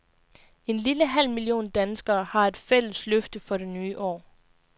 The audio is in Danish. En lille halv million danskere har et fælles løfte for det nye år.